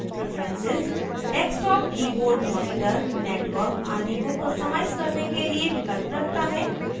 preferences desktop keyboard monitor network आदि को customize करने के लिए विकल्प रखता है